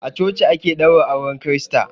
A coci ake ɗaura auren kirista.